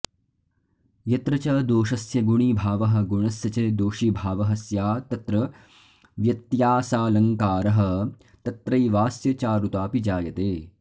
यत्र च दोषस्य गुणीभावः गुणस्य च दोषीभावः स्यात्तत्र व्यत्यासालङ्कारः तत्रैवास्य चारुताऽपि जायते